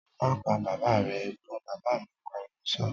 "Má pa bàbà rẹ" Ẹ̀gbọ́n bàbá mi pariwo sọ́ọ́